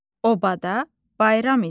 Obada bayram idi.